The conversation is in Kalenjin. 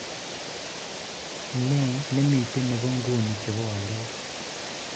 Nee nemiten nebo nguni chebo walet